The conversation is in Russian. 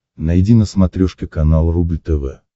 найди на смотрешке канал рубль тв